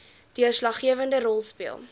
deurslaggewende rol speel